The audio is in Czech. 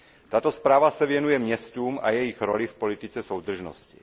Tato zpráva se věnuje městům a jejich roli v politice soudržnosti.